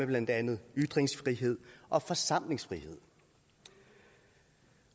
blandt andet ytringsfrihed og forsamlingsfrihed